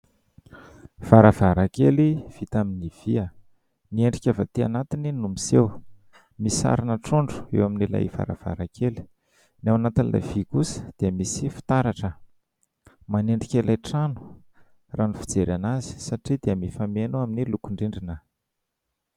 Varavarankely vita amin'ny vy, ny endrika avy atỳ anatiny no miseho. Misy sarina trondro eo amin'ilay varavarankely. Ny ao anatin'ilay vy kosa dia misy fitaratra. Manendrika ilay trano raha ny fijerena azy satria dia mifameno amin'ny lokon-drindrina.